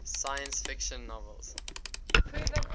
science fiction novels